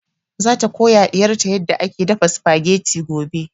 Za ta koya wa ɗiyar ta yarda ake dafa spaghetti gobe